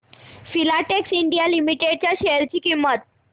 Filatex India limited च्या share ची किंमत